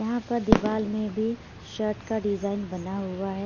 यहाँ पर दीवाल में भी शर्ट का डिजाइन बना हुआ है।